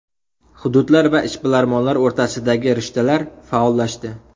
Hududlar va ishbilarmonlar o‘rtasidagi rishtalar faollashdi.